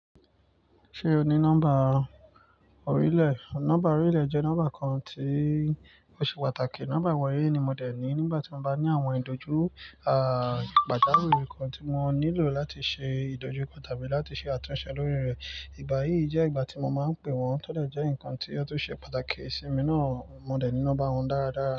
Ṣé o ní nọ́mbà orílẹ̀? Nọ́mbà orílẹ̀ jẹ́ nọ́mbà kan tí ó ṣe pàtàkì. Nọ́mbà ìwọlé ni mo dẹ̀ ní nígbà tí mo bá ní àwọn ìdójú, à, pàtàkì orí ńkan tí mo nílò láti ṣe ìdójú kan tàbí láti ṣe àtúnṣe lórí rẹ̀. Ìgbà yìí jẹ́ ìgbà tí mo máa ń pè wọ́n tó dẹ̀ jẹ́ ńkan tí ó tún ṣe pàtàkì si mi náà, mo dẹ̀ ní nọ́mbà wọn dára dára.